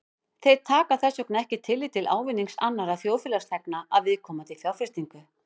Þeir taka þess vegna ekki tillit til ávinnings annarra þjóðfélagsþegna af viðkomandi fjárfestingu.